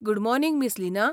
Good morning, miss Leena!